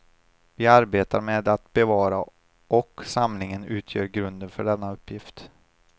Vi arbetar med att bevara och samlingen utgör grunden för denna uppgift.